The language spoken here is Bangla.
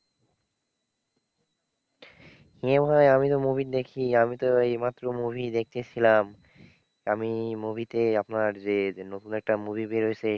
এ ভাই আমি তো movie দেখি। আমি তো এইমাত্র movie দেখতেছিলাম। আমি movie তে আপনার যে নতুন একটা movie বের হয়েছে,